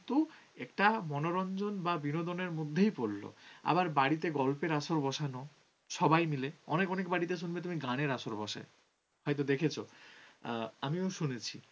একটা মনোরঞ্জন বা বিনোদন এর মধ্যেই পড়ল আবার বাড়িতে গল্পের আসর বসানো সবাই মিলে অনেক অনেক বাড়িতে শুনবে তুমি গানের আসর বসে, হয়তো দেখেছ আমিও শুনেছি